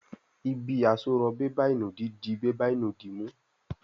Ibi àsorọ̀ bébà ìnùdí dì bébà ìnùdí mú.